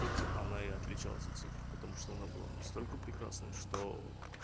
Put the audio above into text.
этим она и отличалась от всех потому что она была настолько прекрасная что